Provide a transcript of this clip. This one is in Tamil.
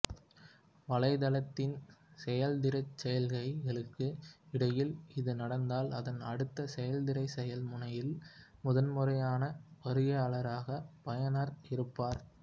வலைத்தளத்தின் செயலெதிர்ச்செயல்களுக்கு இடையில் இது நடந்தால் அதன் அடுத்த செயலெதிர்செயல் முனையில் முதல்முறையான வருகையாளராக பயனர் இருப்பார்